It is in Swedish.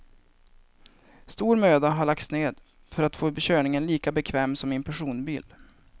Stor möda har lagts ned för att få körningen lika bekväm som i en personbil.